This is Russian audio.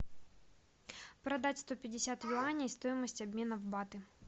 продать сто пятьдесят юаней стоимость обмена в баты